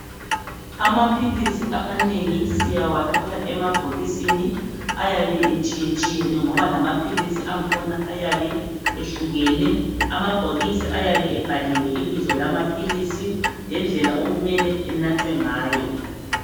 Amaphilisi amanengi siyawathola emabhokisini, ayabe etshiyetshiyene ngoba lamaphilisi angkhona ayabe ehlukene, amabhokisi ayabe ebhaliwe ibizo lamaphilisi, lendlela okumele enathwe ngayo.